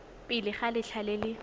pele ga letlha le le